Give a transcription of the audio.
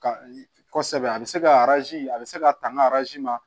Ka kɔsɛbɛ a be se ka arzi a be se ka tan n ka arazi ma